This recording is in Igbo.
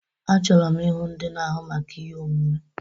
Achọrọ m ịhụ ndị na-ahụ maka ihe omume!